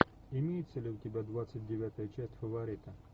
имеется ли у тебя двадцать девятая часть фаворита